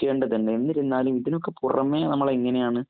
ക്കേണ്ടത് തന്നെ. എന്നിരുന്നാലും, ഇതിനൊക്കെ പുറമേ നമ്മളെങ്ങനെയാണ്